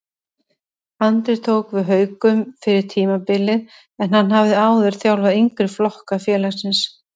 Andri tók við Haukum fyrir tímabilið en hann hafði áður þjálfaði yngri flokka félagsins.